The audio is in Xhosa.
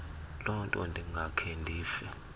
lonto ndingakhe ndife